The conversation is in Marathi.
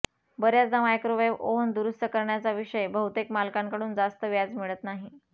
बर्याचदा मायक्रोवेव्ह ओव्हन दुरुस्त करण्याचा विषय बहुतेक मालकांकडून जास्त व्याज मिळत नाही